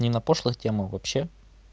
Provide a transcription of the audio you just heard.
не на пошлых темах вообще